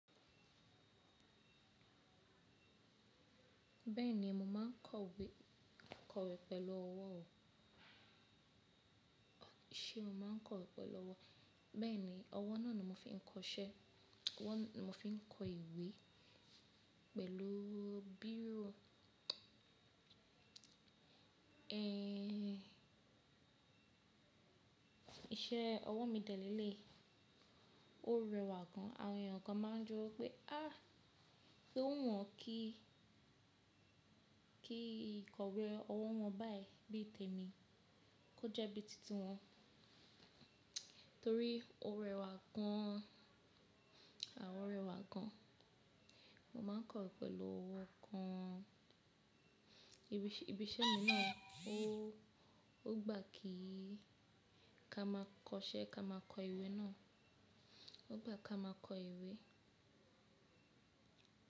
Bẹ́ẹ̀ni, mo máa ń kọ ìwé kọ̀wé pẹ̀lú ọwọ́ o. Ṣé o máa ń kọ̀wé pẹ̀lú ọwọ́? Bẹ́ẹ̀ni, ọwọ́ náà ni mo fi ń kọṣẹ́, ọwọ́ ni mo fi ń kọ ìwé pẹ̀lú bírò. Ehn, iṣẹ́ ọwọ́ mi dẹ̀ lé le yii, ó rẹwà gan. Àwọn èèyàn kan máa ń jọ pé á, pé ó wu wọ́n kí, kí ìkọ̀wé ọwọ́ wọn báyìí bí i tèmi, kó jẹ́ bí i titi wọn torí ó rẹwà gan, àwọn rẹwà gan. Mo ma ń kọ̀wé pẹ̀lú ọwọ́ kan. Ibiṣẹ́ mi náà ó, ó gbà kí ka máa kọṣẹ́, ka máa kọ ìwé náà, ó gbà kí a máa kọ ìwé.